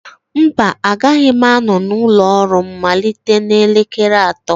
mba, agaghị m anọ n'ụlọ ọrụ m malite n'elekere atọ